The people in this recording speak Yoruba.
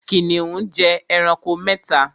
Kìnìún jẹ ẹranko mẹ́ta